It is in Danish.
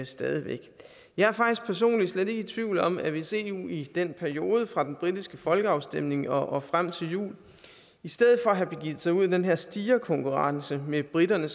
stadig væk jeg er faktisk personligt slet ikke i tvivl om at hvis eu i den periode fra den britiske folkeafstemning og frem til jul i stedet for at have begivet sig ud i den her stirrekonkurrence med briterne